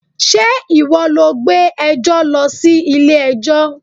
Ṣé ìwọ lọ gbé ẹjọ́ lọ sí ilé ẹjọ́?